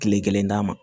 Kile kelen d'a ma